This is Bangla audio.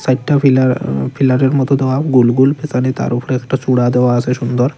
চাইরটা ফিলার আ ফিলারের মতো দেওয়া গোলগোল পেসোনে তার ওফোরে একটা চূড়া দেওয়া আসে সুন্দর।